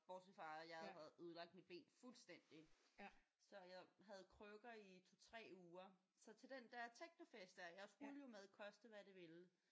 Bortset fra at jeg jo havde ødelagt mit ben fuldstændig så jeg havde krykker i 2 3 uger så til den der technofest der jeg skulle jo med koste hvad det ville